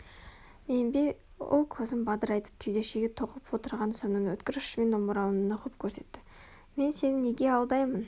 мен бе ол көзін бадырайтып кеудеше тоқып отырған сымның өткір ұшымен омырауын нұқып көрсетті мен сені неге алдаймын